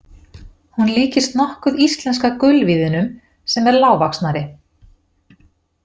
Hún líkist nokkuð íslenska gulvíðinum sem er lágvaxnari.